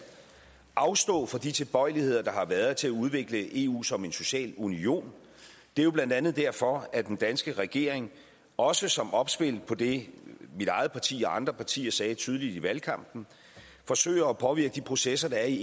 afstå fra de tilbøjeligheder der har været til at udvikle eu som en social union det er blandt andet derfor at den danske regering også som opspil på det mit eget parti og andre partier sagde tydeligt i valgkampen forsøger at påvirke de processer der i